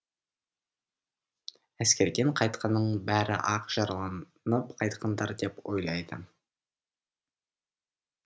әскерден қайтқанның бәрі ақ жараланып қайтқандар деп ойлайды